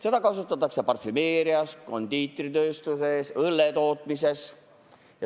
Seda kasutatakse parfümeerias, kondiitritööstuses, õlletootmises.